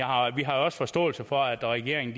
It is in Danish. har jo også forståelse for at regeringen